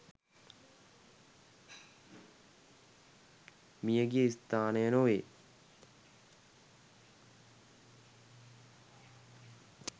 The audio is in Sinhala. මියගිය ස්ථානය නොවේ